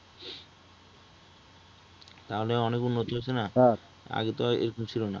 তাহলে অনেক উন্নতি হচ্ছে নাহ , আগে তো এরকম ছিলো না